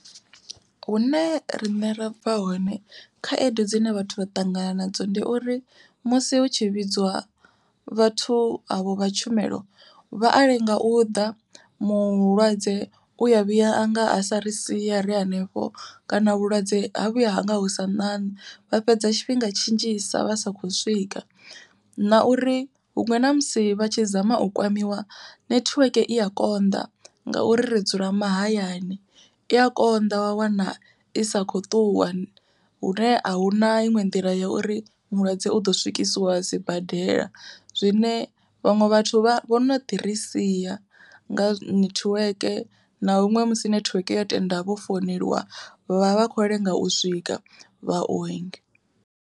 Hune riṋe ra bva hone khaedu dzine vhathu vha ṱangana nadzo ndi uri, musi hu tshi vhidzwa vhathu evho vha tshumelo. Vha a lenga u ḓa, mulwadze u ya vhuya anga a sa ri sia ri hanefho kana vhulwadze ha vhuya hanga hu sa ṋaṋa vha fhedza tshifhinga tshi nnzhisa vha sa khou swika. Na uri huṅwe na musi vha tshi zama u kwamiwa nethiweke i ya konḓa, ngauri ri dzula mahayani i a konḓa wa wana i sa kho ṱuwa, hune ahuna iṅwe nḓila ya uri mulwadze u ḓo swikisiwa sibadela. Zwine vhaṅwe vhathu vho no ḓirisia nga nethiweke na huṅwe musi nethiweke yo tenda vho founeliwa, vha vha vha kho lenga u swika vha u